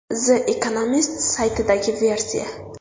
The Economist saytidagi versiya.